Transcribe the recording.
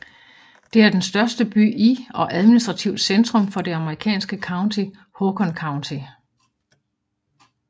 Den er den største by i og administrativt centrum for det amerikanske county Haakon County